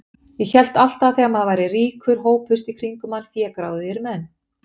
Ég hélt alltaf að þegar maður væri ríkur hópuðust í kringum mann fégráðugir menn.